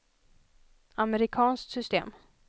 amerikanskt system